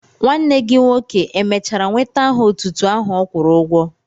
Nwanne gị nwoke èmèchara nweta aha otútú áhù ọ kwụrụ ụgwọ?